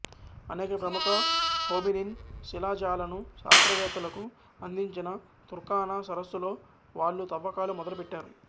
అనేక ప్రముఖ హోమినిన్ శిలాజాలను శాస్త్రవేత్తలకు అందించిన తుర్కానా సరస్సులో వాళ్ళు తవ్వకాలు మొదలు పెట్టారు